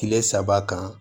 Kile saba kan